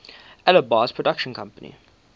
alby's production company